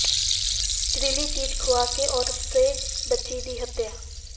ਜ਼ਹਿਰੀਲੀ ਚੀਜ਼ ਖੁਆ ਕੇ ਔਰਤ ਤੇ ਬੱਚੀ ਦੀ ਹੱਤਿਆ